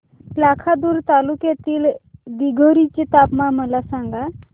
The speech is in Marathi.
लाखांदूर तालुक्यातील दिघोरी चे तापमान मला सांगा